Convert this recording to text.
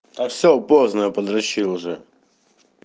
а всё поздно подрочил уже